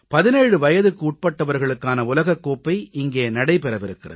17 வயதுக்குட்பட்டவர்களுக்கான உலகக் கோப்பை இங்கே நடைபெறவிருக்கிறது